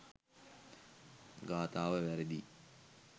ගාථාව වැරැදියි.